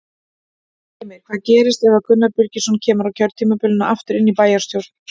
Heimir: Hvað gerist ef að Gunnar Birgisson kemur á kjörtímabilinu aftur inn í bæjarstjórn?